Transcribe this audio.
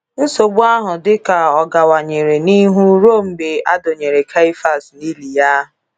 Nsogbu ahụ dịka ọ gawanyere n'ihu ruo mgbe adọnyere Keifas n'ili ya.